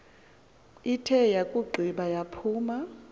ithe yakugqiba yaphuma